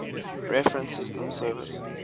reference systems service